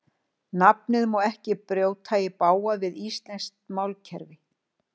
Nafnið má ekki brjóta í bág við íslenskt málkerfi.